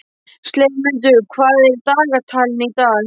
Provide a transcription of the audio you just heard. slefmundur, hvað er í dagatalinu í dag?